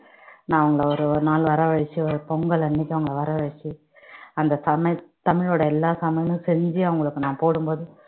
நான் அவங்களை ஒரு ஒரு நாள் வரவழைச்சு ஒரு பொங்கல் அன்னைக்கு அவங்களை வரவச்சு அந்த தமிழ் தமிழோட எல்லா சமையலும் செஞ்சு அவங்களுக்கு நான் போடும்போது